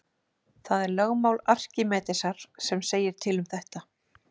Það er lögmál Arkímedesar sem segir til um þetta.